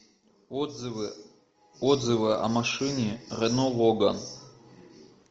отзывы о машине рено логан